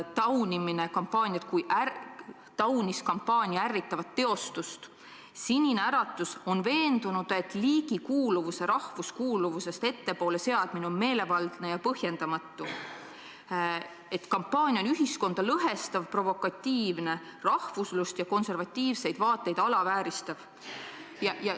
Riina Solman taunis kampaania ärritavat teostust, Sinine Äratus on veendunud, et liigikuuluvuse seadmine rahvuskuuluvusest ettepoole on meelevaldne ja põhjendamatu ning et kampaania on ühiskonda lõhestav, provokatiivne, rahvuslust ja konservatiivseid vaateid alavääristav.